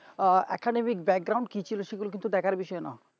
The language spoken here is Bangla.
আহ academy র কি ছিল সেটা কিন্তু দেখার বিষয় নোই